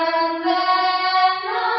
Vande Mataram